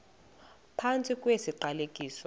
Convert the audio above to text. phantsi kwesi siqalekiso